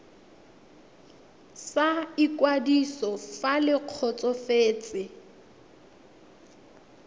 sa ikwadiso fa le kgotsofetse